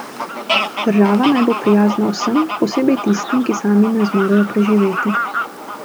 Država naj bo prijazna vsem, posebej tistim, ki sami ne zmorejo preživeti.